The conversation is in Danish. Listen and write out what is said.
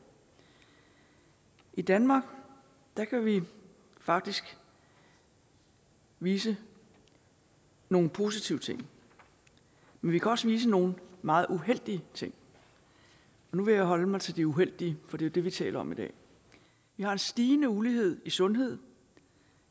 i danmark kan vi faktisk vise nogle positive ting men vi kan også vise nogle meget uheldige ting nu vil jeg holde mig til de uheldige for det er dem vi taler om i dag vi har en stigende ulighed i sundhed